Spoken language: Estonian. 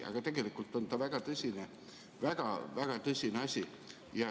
Aga tegelikult on see väga-väga tõsine asi.